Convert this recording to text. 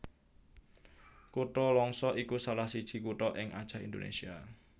Kutha Langsa iku salah siji kutha ing Acèh Indonésia